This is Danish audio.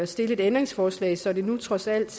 stille et ændringsforslag så det nu trods alt